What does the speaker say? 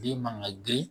Den man ka girin